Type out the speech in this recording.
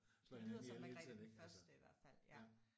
Det lyder som Margrethe den første i hvert fald ja